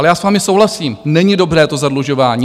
Ale já s vámi souhlasím, není dobré to zadlužování.